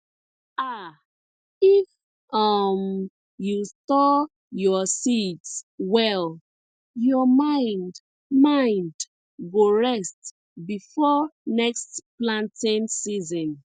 um if um you store your seeds well your mind mind go rest before next planting season